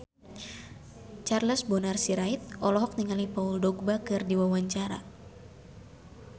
Charles Bonar Sirait olohok ningali Paul Dogba keur diwawancara